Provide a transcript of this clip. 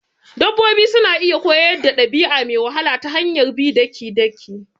Dabbobi suna iya koyar dabi'a me wahala ta hanyar bi daki-daki